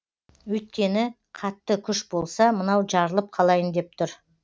өйткені қатты күш болса мынау жарылып қалайын деп тұр